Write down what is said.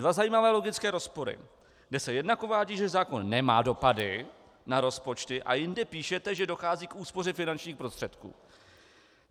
Dva zajímavé logické rozpory, kdy se jednak uvádí, že zákon nemá dopady na rozpočty, a jinde píšete, že dochází k úspoře finančních prostředků.